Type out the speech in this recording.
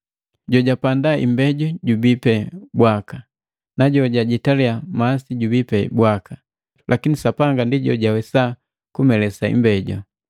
Jojapanda imbeju jubii pe bwaka, na jojajitaliya masi jubii pe bwaka, lakini Sapanga ndi jojawesa kumelesa imbeju.